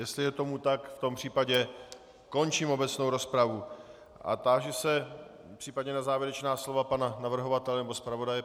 Jestli je tomu tak, v tom případě končím obecnou rozpravu a táži se případně na závěrečná slova pana navrhovatele nebo zpravodaje.